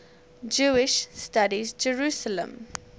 jewish studies jerusalem